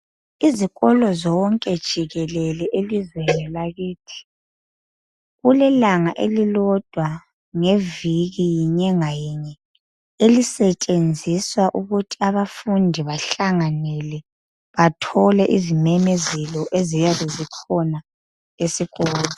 Izikolo zonke jikelele elizweni lakithi. Kulelanga elilodwa ngeviki ngenyanga yinye elisetshenziswa ukuthi abafundi bahlanganele bathole izimemezelo eziyabe zikhona esikolo.